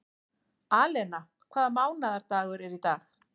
Alena, hvaða mánaðardagur er í dag?